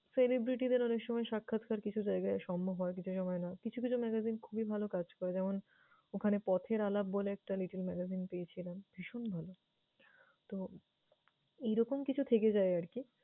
celebrity দের অনেকসময় সাক্ষাৎকার কিছু জায়গায় সম্বব হয়, কিছু সময় না। কিছু কিছু magazine খুবই ভালো কাজ করে। যেমন ওখানে পথের আলাপ বলে একটা little magazine পেয়েছিলাম, ভীষণ ভালো। তো, এরকম কিছু থেকে যায় আরকি।